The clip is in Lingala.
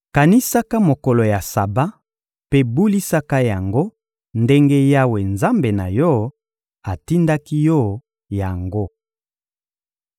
Kanisaka mokolo ya Saba mpe bulisaka yango, ndenge Yawe, Nzambe na yo, atindaki yo yango.